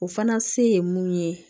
O fana se ye mun ye